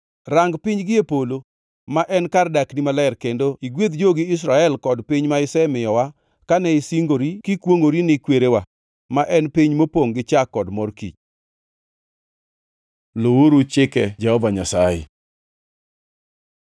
Rang piny gie polo, ma en kar dakni maler kendo igwedh jogi Israel kod piny ma isemiyowa kane isingori kikwongʼori ni kwerewa, ma en piny mopongʼ gi chak kod mor kich.” Luwuru chike Jehova Nyasaye